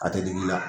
A tɛ digi i la